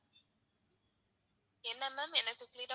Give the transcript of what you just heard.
என்ன ma'am என்ன